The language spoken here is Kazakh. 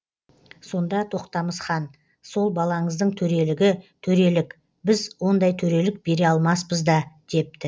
сонда тоқтамыс хан сол балаңыздың төрелігі төрелік біз ондай төрелік бере алмаспыз да депті